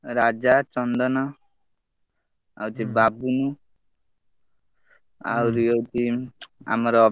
ରାଜା ଚନ୍ଦନ ଆଉ ହଉଛିବାବୁନ ଆହୁରି ହଉଛି ଆମର।